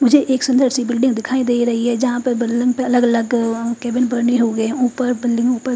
मुझे एक सुन्दर सी बिल्डिंग दिखाई दे रही है जहा पर के केबिन बने हुए है उपर --